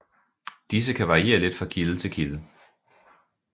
Disse kan variere lidt fra kilde til kilde